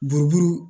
Buruburu